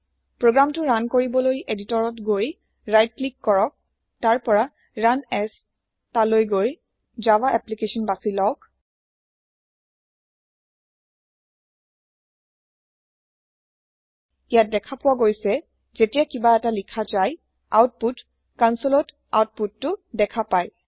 প্ৰোগ্ৰামতো run কৰিবলৈ এদিটৰত গৈ সো ক্লিক কৰক তাৰ পৰা ৰুণ asতালৈ গৈ জাভা এপ্লিকেশ্যন বাছি লওক ইয়াত দেখা পোৱা গৈছে যেতিয়া কিবা এটা লিখা যায় আউটপুট কোনচোলত আউপোটতো দেখা পাই